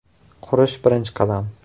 Qurish birinchi qadam.